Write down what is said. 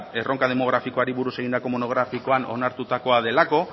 erronka demografikoari buruz egindako monografikoan onartutako delako